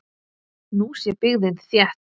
Nú sé byggðin þétt.